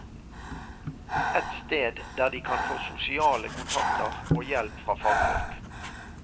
Et sted der de kan få sosiale kontakter og hjelp fra fagfolk.